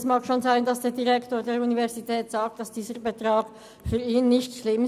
Es mag schon sein, dass der Direktor der Universität sagt, für ihn sei dieser Betrag nicht schlimm.